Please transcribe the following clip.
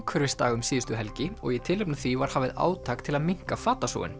umhverfisdag um síðustu helgi og í tilefni af því var hafið átak til að minnka